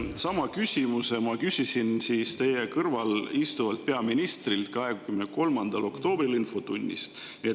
Sama küsimuse ma küsisin teie kõrval istuvalt peaministrilt 23. oktoobril infotunnis.